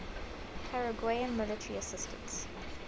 paraguayan military assistance